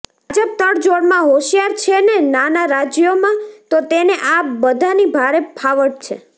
ભાજપ તડજોડમાં હોશિયાર છે ને નાનાં રાજ્યોમા તો તેને આ બધાની ભારે ફાવટ છે